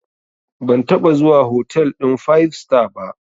Ban taɓa zuwa hotel ɗin five star ba.